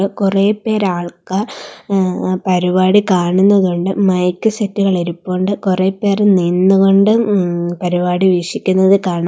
കുറെ പേർ ആൾക്കാർ ഏഹ് പരിപാടി കാണുന്നതുണ്ട് മൈക്ക് സെറ്റുകൾ ഇരിപ്പുണ്ട് കുറെ പേർ നിന്നു കൊണ്ട് ഉം പരിപാടി വീക്ഷിക്കുന്നത് കാണാം.